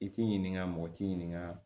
I t'i ɲininka mɔgɔ t'i ɲininka